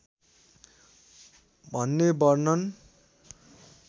भन्ने वर्णन